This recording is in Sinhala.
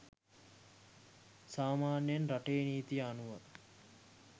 සාමාන්‍යයෙන් රටේ නීතිය අනුව